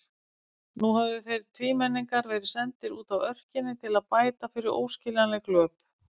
Nú höfðu þeir tvímenningar verið sendir útaf örkinni til að bæta fyrir óskiljanleg glöp.